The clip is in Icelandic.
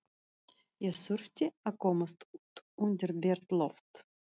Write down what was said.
Ég þurfti að komast út undir bert loft.